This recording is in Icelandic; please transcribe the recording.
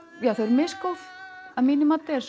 misgóð að mínu mati en